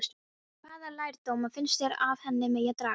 Hvaða lærdóma finnst þér af henni megi draga?